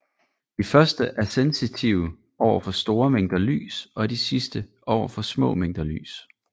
De første er sensitive over for store mængder lys og de sidste over for små mængder lys